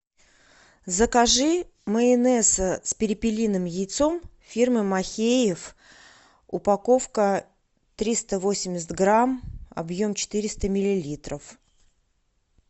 закажи майонез с перепелиным яйцом фирмы махеев упаковка триста восемьдесят грамм объем четыреста миллилитров